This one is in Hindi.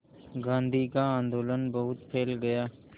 गांधी का आंदोलन बहुत फैल गया